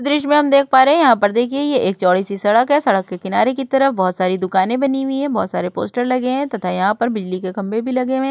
दृश्य में हम देख पा रहे हैं यहाँ पर देखिए ये एक चौड़ी सी सड़क है। सड़क के किनारे की तरफ बोहोत सारी दुकानें बनी हुई हैं। बोहोत सारे पोस्टर लगे हैं तथा यहाँ पर बिजली के खंभे भी लगे हुए हैं।